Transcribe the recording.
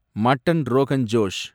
mutton rogan Josh